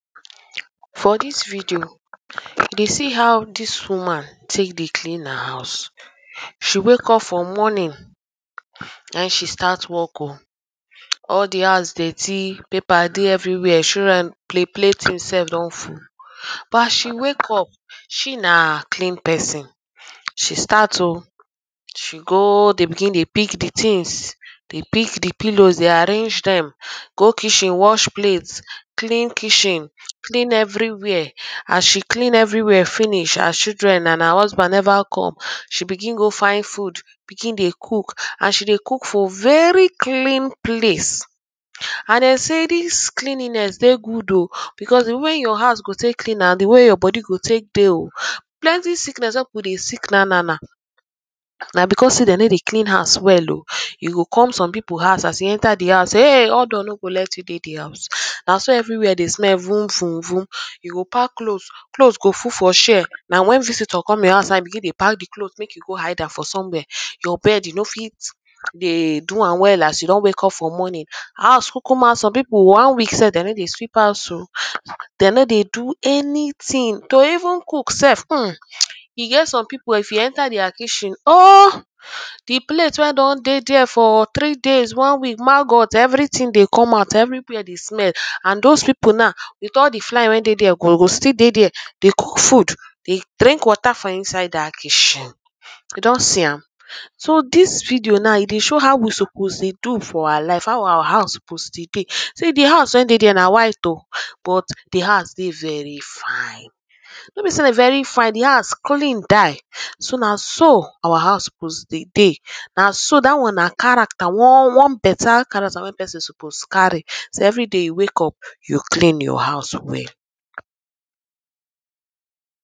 For dis video, we dey see how dis woman take dey clean her house. She wake up for morning na im she start work oh. All the house dirty. Paper dey everywhere. Children play play things self don full. But as she wake up, she na clean person. She start oh. She go dey begin dey pick the things. Dey pick the pillows, dey arrange dem. Go kitchen wash plate. Clean kitchen. Clean everywhere. As she clean everywhere finish, her children and her husband never come. She begin go find food begin dey cook. And she dey cook for very clean place. And dem say dis cleanliness dey good oh because the way wey your house go take clean na the way your body dey oh. Plenty sickness wey people dey sick now now now na because sey de no dey clean house well oh ern. You go come some people house, as you enter the house ah! odour no go let you dey the house er. Na so everywhere dey smell vun vun vun. You go pack cloth, cloth go full for chair. Na when visitor come your house na im you begin dey pack the cloth make you go hide am for somewhere. Your bed you no fit dey do am well as you don wake up for morning. House cucuma some people one week self they no dey sweep house oh. They no dey do anything. To even cook self ern. E get some people er, if you enter their kitchen, all the plate wey don dey dere for three days, one week magote everything dey come out. Everywhere dey small. And dos people now with all the flies wey dey dere, de go still dey dere they cook food dey drink water for inside dat kitchen. You don see am. So dis video now, e dey show how we suppose dey do for our life. How our house suppose they dey. See! the house wey dey dere na white oh but the house dey very fine. No be sey very fine, the house clean die. So na so our house suppose they dey. Na so. Dat one na character, one one better character wey person suppose carry. So every day you wake up er you clean your house well.